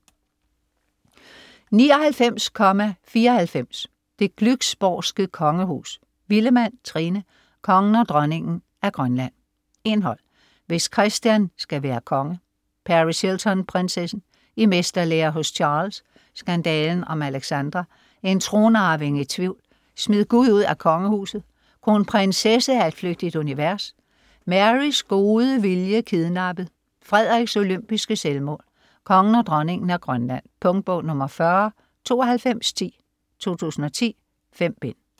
99.94 Det Glücksborgske Kongehus Villemann, Trine: Kongen og Dronningen af Grønland Indhold: Hvis Christian skal være konge -; Paris Hilton-prinsessen; I mesterlære hos Charles; Skandalen om Alexandra; En tronarving i tvivl; Smid Gud ud af kongehuset; Kronprinsesse af et flygtigt univers; Marys gode viljek idnappet; Frederiks olympiske selvmål; Kongen og dronningen af Grønland. Punktbog 409210 2010. 5 bind.